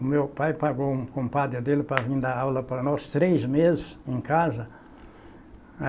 O meu pai pagou um compadre dele para vir dar aula para nós três meses em casa.